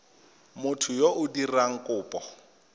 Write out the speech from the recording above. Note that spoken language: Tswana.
motho yo o dirang kopo